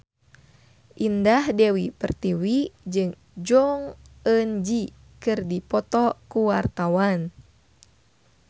Indah Dewi Pertiwi jeung Jong Eun Ji keur dipoto ku wartawan